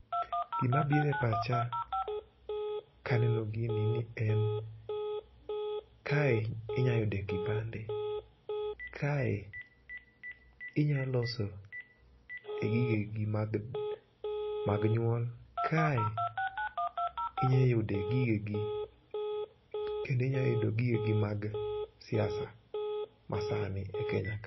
Gima biro epacha kaneno gini ni en, kae inyalo yude kipande, kae inya loso e gigegi mag mag nyuol, kae inyalo yude gigegi kendo inya yude gigegi mag siasa masani e Kenya ka.